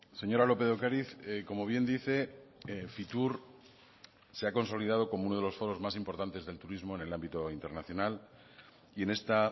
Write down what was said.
señora lópez de ocariz como bien dice fitur se ha consolidado como uno de los foros más importantes del turismo en el ámbito internacional y en esta